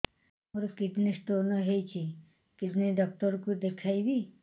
ମୋର kidney stone ହେଇଛି kidney doctor କୁ ଦେଖାଇବି